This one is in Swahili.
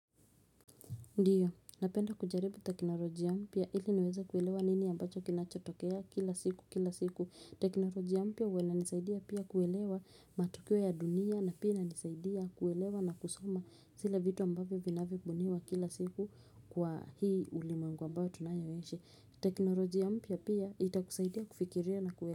Ndio, ninapenda kujaribu teknolojia mpya ili niweze kuelewa nini ambacho kinachotokea kila siku kila siku. Teknolojia mpya huwa inanisaidia pia kuelewa matukio ya dunia, na pia inanisaidia kuelewa na kusoma vile vitu ambavyo vinavyobuniwa kila siku, kwa hii ulimwengu ambayo tunayoishi. Teknolojia mpya pia itakusaidia kufikiria na.